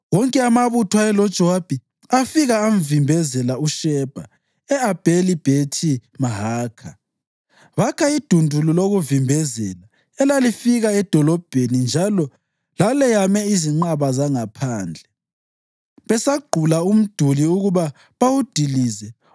Wonke amabutho ayeloJowabi afika amvimbezela uShebha e-Abheli-Bhethi-Mahakha. Bakha idundulu lokuvimbezela elalifika edolobheni njalo laleyame izinqaba zangaphandle. Besagqula umduli ukuba bawudilize,